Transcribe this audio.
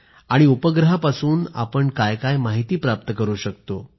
आणि उपग्रहापासून आपण काय काय माहिती प्राप्त करतो